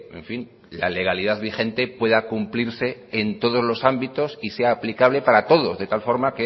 en fin la legalidad vigente pueda cumplirse en todos los ámbitos y sea aplicable para todos de tal forma